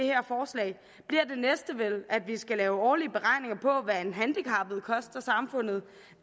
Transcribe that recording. næste vel at vi skal lave årlige beregninger på hvad en handicappet koster samfundet